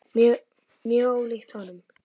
Mjög ólíkt honum.